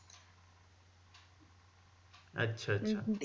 আচ্ছা আচ্ছা